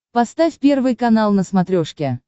поставь первый канал на смотрешке